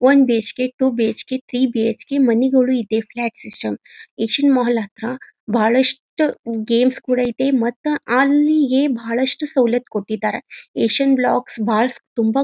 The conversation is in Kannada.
one BHK two BHK three BHK ಮನಿಗೋಳು ಇದೆ ಫ್ಲ್ಯಾಟ್ ಸಿಸ್ಟಮ್ ಏಶಿಯನ್ ಮಾಲ್ ಹತ್ರ ಬಹಳಷ್ಟು ಗೇಮ್ಸ್ ಕೂಡ ಇದೆ ಮತ್ತೆ ಅಲ್ಲಿಯೇ ಬಹಳಷ್ಟು ಸವಲತ್ತು ಕೊಟ್ಟಿದ್ದಾರೆ ಏಶಿಯನ್ ಬ್ಲಾಕ್ಸ್ ಭಾಳ ತುಂಬಾ --